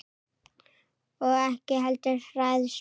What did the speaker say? Og ekki heldur hræðslu